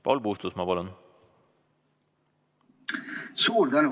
Paul Puustusmaa, palun!